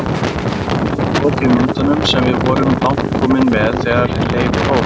Við gátum ekki lokið myndunum sem við vorum langt komin með þegar leyfið hófst.